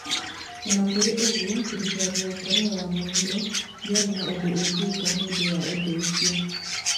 O na kũrĩ ũguo, thirikari ya Korea ya Mũhuro ndĩarĩ na ũndũ ĩngĩĩka nĩ ũndũ wa ũndũ ũcio.